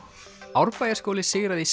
Árbæjarskóli sigraði í